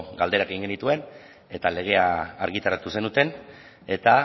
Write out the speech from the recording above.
galdera egin genituen eta legea argitaratu zenuten eta